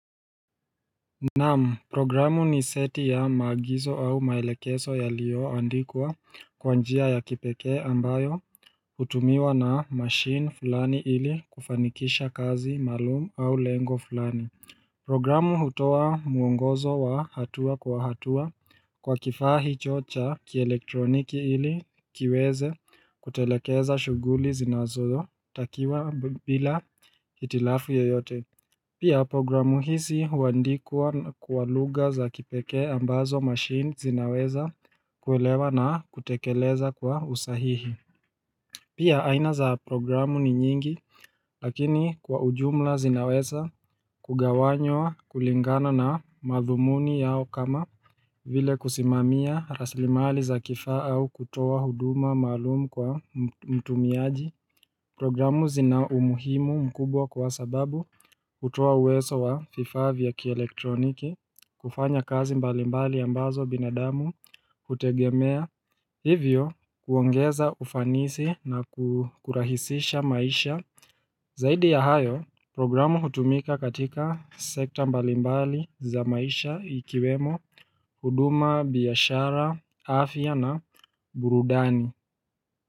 Naam, programu ni seti ya maagizo au maelekezo yaliyo andikwa, kwa njia ya kipekee ambayo hutumiwa na machine fulani ili kufanikisha kazi malumu au lengo fulani Programu hutoa mwongozo wa hatua kwa hatua, Kwa kifaa hicho cha kielektroniki ili kiweze kutelekeza shughuli zinazotakiwa bila hitilafu yeyote Pia programu hizi huandikwa kwa lugha za kipekee ambazo machine zinaweza kuelewa na kutekeleza kwa usahihi Pia aina za programu ni nyingi lakini kwa ujumla zinaweza kugawanywa kulingana na madhumuni yao kama vile kusimamia raslimali za kifaa au kutoa huduma maalumu kwa mtumiaji Programu zina umuhimu mkubwa kwa sababu hutoa uwezo wa vifaa vya kielektroniki kufanya kazi mbalimbali ambazo binadamu hutegemea hivyo huongeza ufanisi na kurahisisha maisha Zaidi ya hayo, programu hutumika katika sekta mbalimbali za maisha ikiwemo huduma, biashara, afya na burudani.